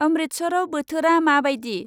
अम्रितसराव बोथोरा माबायदि